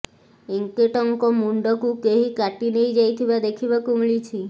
ଏଙ୍କେଟଙ୍କ ମୁଣ୍ଡକୁ କେହି କାଟି ନେଇ ଯାଇଥିବା ଦେଖିବାକୁ ମିଳିଛି